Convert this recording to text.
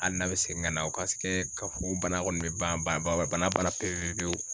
Hali n'a bɛ segin ka na o ka ye k'a fɔ ko bana kɔni bɛ ban ba b'a la pewu pewu.